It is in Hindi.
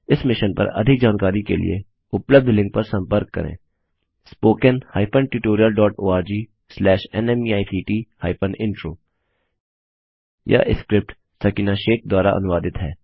इस मिशन पर अधिक जानकारी के लिए उपलब्ध लिंक पर संपर्क करें httpspoken tutorialorgNMEICT Intro यह स्क्रिप्ट सकीना शेख द्वारा अनुवादित है